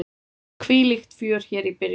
Hvílíkt fjör hér í byrjun!